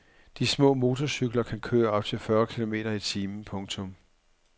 De små motorcykler kan køre op til fyrre kilometer i timen. punktum